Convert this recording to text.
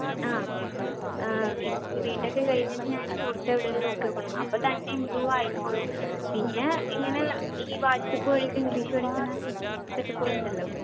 ആ ആഹ് ഇപ്പം B. Tech കഴിഞ്ഞിട്ട് ഞാന് പുറത്തെവിടെലും നോക്കി നോക്കണം അപ്പൊ തന്നെ improve ആയിക്കോളും പിന്നെ ഇങ്ങനെ ഈ വാട്സാപ്പ് വഴിയൊക്കെ english പഠിക്കണേ set up കളുണ്ടല്ലോ